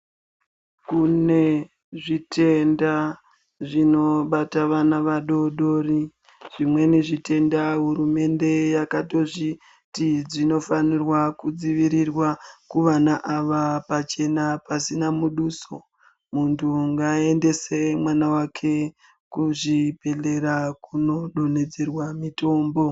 Kune zvitenda zvinobata vana vadodori, zvimweni zvitenda hurumende yakatozviti zvinofanira kudzivirirwa kuvana ava pachena pasina muduso. Muntu ngaaendese mwana wake kuzvibhedhlera kunodonhedzerwa mitombo